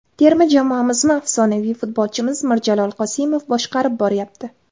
Terma jamoamizni afsonaviy futbolchimiz Mirjalol Qosimov boshqarib boryapti.